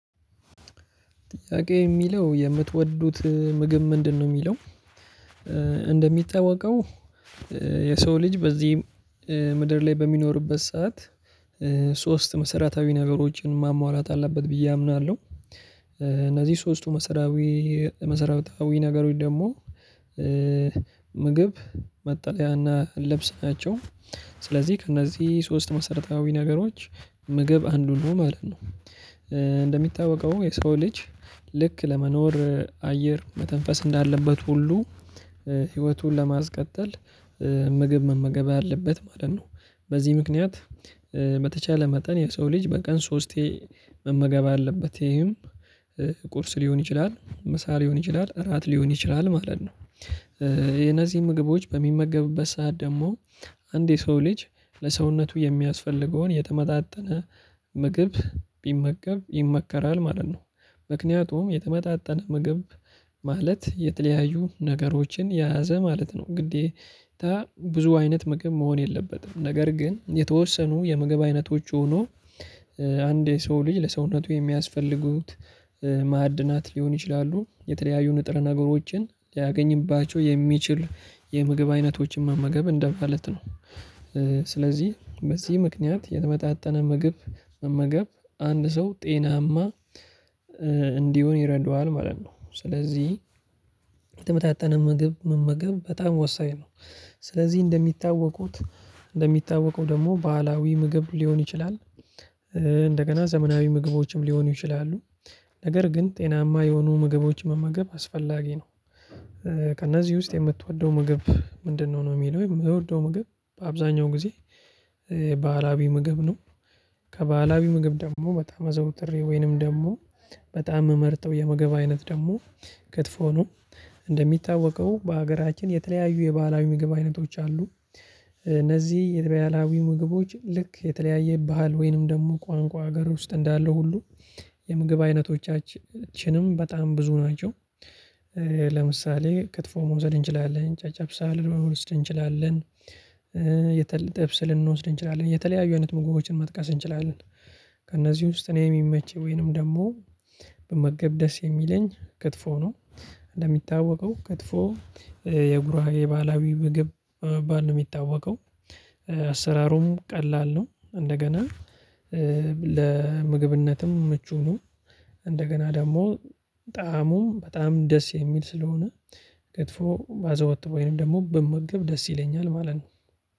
ጥያቄ የሚለው የምትወዱት ምግብ ምንድነው? የሚለው እንደሚታወቀው የሰው ልጅ በዚህም ምድር ላይ በሚኖርበት ሰዓት ሶስት መሰረታዊ ነገሮችን ማሟላት አለበት ብዬ አምናለሁ። እነዚህ ሶስቱ መሰረታዊ መሰረታዊ ነገሮች ደግሞ ምግብ መጠለያና ለብስ ናቸው። ስለዚህ ከእነዚህ ሶስት መሰረታዊ ነገሮች ምግብ አንዱ ነው ማለት ነው። እንደሚታወቀው የሰው ልጅ ልክ ለመኖር አየር መተንፈስ እንዳለበት ሁሉ ህይወቱን ለማስቀጠል ምግብ መመገብ አለበት ማለት ነው። በዚህ ምክንያት በተቻለ መጠን የሰው ልጅ በቀን ሶስቴ መመገብ አለበት። ይሄም ቁርስ ሊሆን ይችላል ምሳ ሊሆን ይችላል እራት ሊሆን ይችላል ማለት ነው። የነዚህ ምግቦች በሚመገቡበት ሰዓት ደግሞ አንድ የሰው ልጅ ለሰውነቱ የሚያስፈልገውን የተመጣጠነ ምግብ ቢመገብ ይመከራል ማለት ነው። ምክንያቱም የተመጣጠነ ምግብ ማለት የተለያዩ ነገሮችን የያዘ ማለት ነው ግዴታ ብዙ አይነት ምግብ መሆን የለበትም። ነገር ግን የተወሰኑ የምግብ አይነቶች ሆኖ። አንድ የሰው ልጅ ለሰውነቱ የሚያስፈልጉት ማዕድናት ሊሆን ይችላሉ የተለያዩ ንጥር ነገሮችን ሊያገኝባቸው የሚችል የምግብ አይነቶችን መመገብ እንደማለት ነው። ስለዚህ በዚህ ምክንያት የተመጣጠነ ምግብ መመገብ አንድ ሰው ጤናማ እንዲሆን ይረዱሃል ማለት ነው። ስለዚህ የተመጣጠነ ምግብ መመገብ በጣም ወሳኝ ነው። ስለዚህ እንደሚታወቁት እንደሚታወቁ ደግሞ ባህላዊ ምግብ ሊሆን ይችላል። እንደገና ዘመናዊ ምግቦችም ሊሆኑ ይችላሉ። ነገር ግን ጤናማ የሆኑ ምግቦች መመገብ አስፈላጊ ነው። ከእነዚህ ውስጥ የምትወደው ምግብ ምንድነው? ነው የሚለው የምትወደው ምግብ በአብዛኛው ጊዜ ባህላዊ ምግብ ነው። ከባህላዊ ምግብ ደግሞ በጣም አዘውትሬ ወይንም ደግሞ በጣም ምመርጠው የመግብ አይነት ደግሞ ክትፎ ነው። እንደሚታወቀው በሀገራችን የተለያዩ የባህላዊ ምግብ አይነቶች አሉ። እነዚህ የተለያዩ ምግቦች ልክ የተለያየ ባህል ወይንም ደግሞ ቋንቋ ሀገር ውስጥ እንዳለ ሁሉ የምግብ አይነቶቻችንም በጣም ብዙ ናቸው። ለምሳሌ ክትፎ መውሰድ እንችላለን ጨጨብሳ ልንወስድ እንችላለን። የተለ ጥብስ ልንወስድ እንችላለን የተለያዩ አይነት ምግቦችን መጥቀስ እንችላለን። ከእነዚህ ውስጥ እኔ የሚመች ወይንም ደግሞ ብመገብ ደስ የሚለኝ ክትፎ ነው። እንደሚታወቀው ክትፎ የጉራጌ የባህላዊ ባል ነው የሚታወቀው። አሰራሩም ቀላል ነው። እንደገና ለምግብነትም ምቹ ነው። እንደገና ደግሞ ጣዕሙ በጣም ደስ የሚል ስለሆነ ክትፎ ባዘወትር ወይንም ደግሞ በመገብ ደስ ይለኛል ማለት ነው።